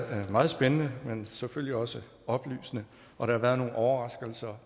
meget spændende og selvfølgelig også oplysende og der har været nogle overraskelser